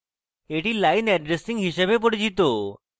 এটি line addressing হিসাবে পরিচিত